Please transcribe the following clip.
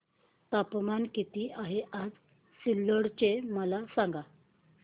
तापमान किती आहे आज सिल्लोड चे मला सांगा